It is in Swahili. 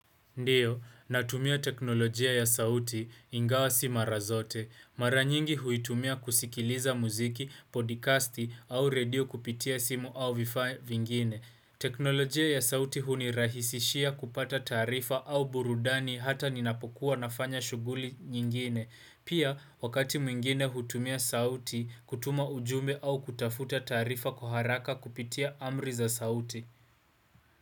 Ndiyo, natumia teknolojia ya sauti, ingawa si mara zote. Mara nyingi huitumia kusikiliza muziki, podcasti au radio kupitia simu au vifaa vingine. Teknolojia ya sauti hunirahisishia kupata tarifa au burudani hata ninapokuwa nafanya shughuli nyingine. Pia, wakati mwingine hutumia sauti, kutuma ujumbe au kutafuta taarifa kuharaka kupitia amri za sauti.